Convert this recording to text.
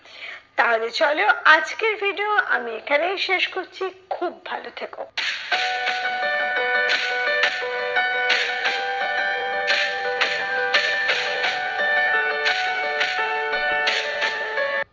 তাহলে চলো আজকের video আমি এখানেই শেষ করছি। খুব ভালো থেকো।